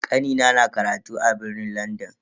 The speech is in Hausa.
Kanina na karatu a birnin Landan.